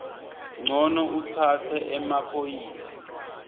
ncono utsatse emaphoyisa